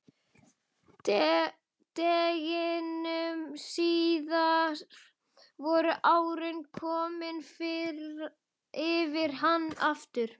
Deginum síðar voru árin komin yfir hana aftur.